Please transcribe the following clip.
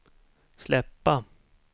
släppa